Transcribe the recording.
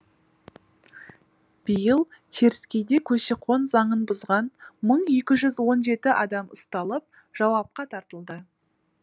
биыл теріскейде көші қон заңын бұзған мың екі жүз он жеті адам ұсталып жауапқа тартылды